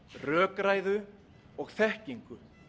rökræðu og þekkingu